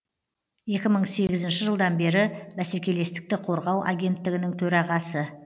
екі мың сегізінші жылдан бері бәсекелестікті қорғау агенттігінің төрағасы